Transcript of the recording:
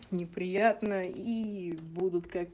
неприятно ии буду как